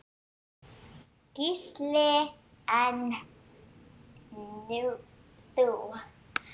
Gísli: En þú?